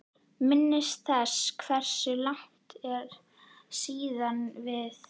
Minnist þess hversu langt er síðan við